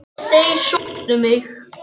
Og þeir sóttu mig.